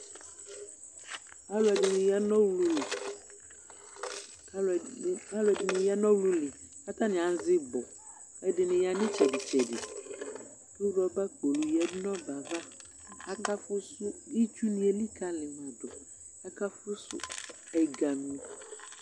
alʋɛdini yanʋ ɔɣlʋli alʋdini ya nʋ ɛɣlʋli katani azɛ ibɔ ɛdini ya nʋ itsɛdi tsɛdi kʋ ɔrɔba kpolʋ lɛ nʋ itsɛdi tsɛdi akaƒʋsʋ itsʋni elikaliyidʋ aka ƒʋsʋ ɛgami